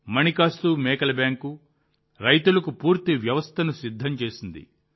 మాణికాస్తు మేకల బ్యాంకు రైతులకు పూర్తి వ్యవస్థను సిద్ధం చేసింది